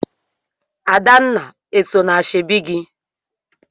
Adanna eso na ashebi gị?